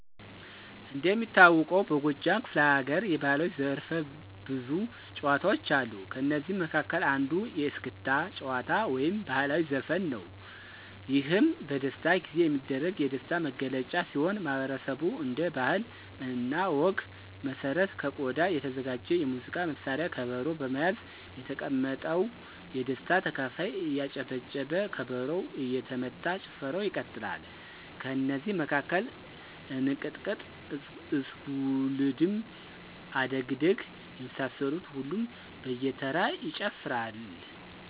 እንደሚታወቀውበጎጃም ክፈለሀገር የባህላዊ ዘርፈብዙ ጭዎታዎች አሉ ከእነዚህም መካከል አንዱ የእስክታ ጭዎታ ወይም ባህላዊ ዘፈን ነው ይህም በደስታ ጊዜ የሚደረግ የደስታ መገለጫ ሲሆን ማህበረሰቡ እንደ ባህለ እና ወግ መሰረት ከቆዳ የተዘጋጅ የሙዚቃ መሳርያ ከበሮ በመያዝ የተቀመጠው የደስታ ተካፋይ እያጨበጨበ ከበሮው እየተመታ ጭፈራው ይቀጥላል። ከእነዚህ መካከል እንቅጥቅጥ፣ እስጉልድም፣ አደግድግ፣ የመሳሰሉትን ሁሉም በየተራ ይጨፍራል።